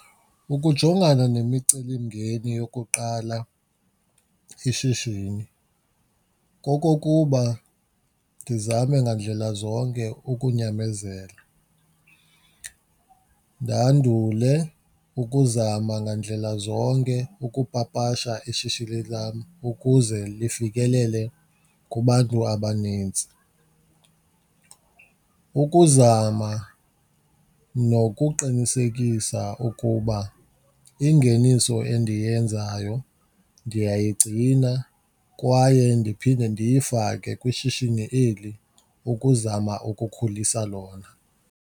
Ukujongana nemicelimngeni yokuqala ishishini kokokuba ndizame ngandlela zonke ukunyamezela, ndandule ukuzama ngandlela zonke ukupapasha ishishini lam ukuze lifikelele kubantu abanintsi. Ukuzama nokuqinisekisa ukuba ingeniso endiyenzayo ndiyayigcina kwaye ndiphinde ndiyifake kwishishini eli ukuzama ukukhulisa lona.